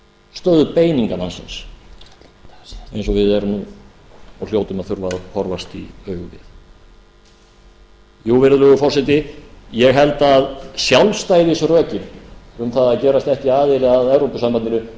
stöðu beiningamannsins eins og við erum nú og hljótum að þurfa að horfast í augu við jú virðulegur forseti ég held að sjálfstæðisrökin um það að gerast ekki aðili að evrópusambandinu